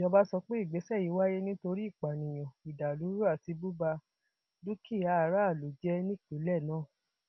ìjọba sọ pé ìgbésẹ yìí wáyé nítorí ìpànìyàn ìdàlúrú àti bùba dúkìá aráàlú jẹ nípínlẹ náà